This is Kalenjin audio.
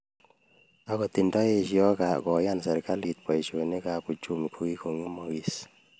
Agot nda estos koyan serikalit baishonikab uchumi kogigogemagis ---